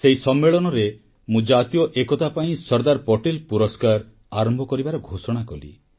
ସେହି ସମ୍ମେଳନରେ ମୁଁ ଜାତୀୟ ଏକତା ପାଇଁ ସର୍ଦ୍ଦାର ପଟେଲ ପୁରସ୍କାର ଆରମ୍ଭ କରିବାର ଘୋଷଣା କଲି